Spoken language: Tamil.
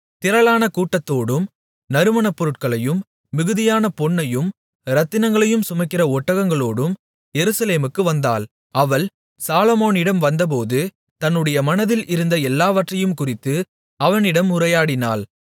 திரளான கூட்டத்தோடும் நறுமணப்பொருட்களையும் மிகுதியான பொன்னையும் இரத்தினங்களையும் சுமக்கிற ஒட்டகங்களோடும் எருசலேமுக்கு வந்தாள் அவள் சாலொமோனிடம் வந்தபோது தன்னுடைய மனதில் இருந்த எல்லாவற்றையும்குறித்து அவனிடம் உரையாடினாள்